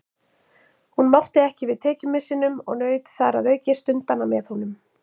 Hún mátti ekki við tekjumissinum og naut þar að auki stundanna með honum.